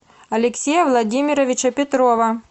алексея владимировича петрова